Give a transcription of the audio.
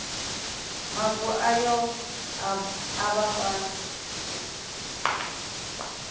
mavu ayo a vha fhasi